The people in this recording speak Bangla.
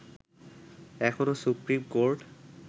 এখনো সুপ্রিম কোর্ট